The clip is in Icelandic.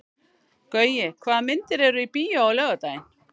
Gaui, hvaða myndir eru í bíó á laugardaginn?